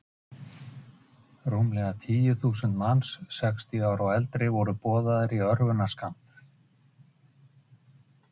"""Nei, hvað sé ég!"""